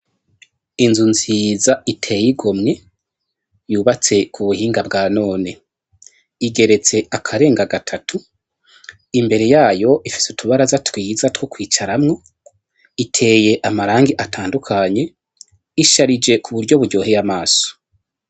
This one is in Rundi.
Inzu nziza iteye igomwe, yubatse ku buhinga bwa none, igeretse akarenga gatatu, imbere yayo ifise utubaraza twiza two kwicaramwo, iteye amarangi atandukanye, isharije ku buryo buryoheye amaso.